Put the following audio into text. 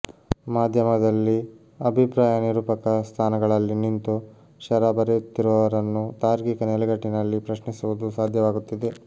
ಮಾಧ್ಯಮದಲ್ಲಿ ಅಭಿಪ್ರಾಯ ನಿರೂಪಕ ಸ್ಥಾನಗಳಲ್ಲಿ ನಿಂತು ಷರಾ ಬರೆಯುತ್ತಿರುವವರನ್ನು ತಾರ್ಕಿಕ ನೆಲೆಗಟ್ಟಿನಲ್ಲಿ ಪ್ರಶ್ನಿಸುವುದು ಸಾಧ್ಯವಾಗುತ್ತಿದೆ